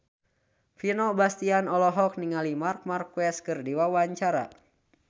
Vino Bastian olohok ningali Marc Marquez keur diwawancara